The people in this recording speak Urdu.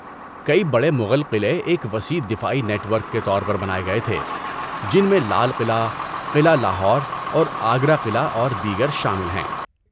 کئی بڑے مغل قلعے ایک وسیع دفاعی نیٹ ورک کے طور پر بنائے گئے تھے، جن میں لال قلعہ، قلعہ لاہور، اور آگرہ قلعہ اور دیگر شامل ہیں۔